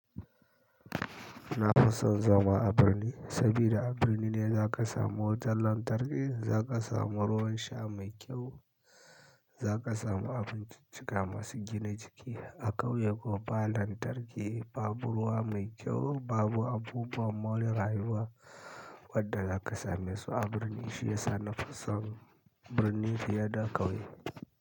Na fi son zama a birni saboda a birni ne za ka samu wutar lantarki, za ka samu ruwa sha mai kyau, za ka samu abinciccika masu gina jiki. A ƙauye ko ba lantarki, ba buruwa mai kyau, babu abubuwan more rayuwa wadda za ka same su a birni. Shiyasa na fi son birni fiye da ƙauye.